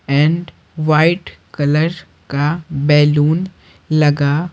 and white colour काबैलून लगा--